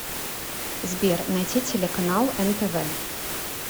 сбер найти телеканал нтв